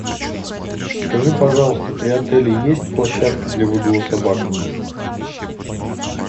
скажи пожалуйста при отеле есть площадка для выгула собак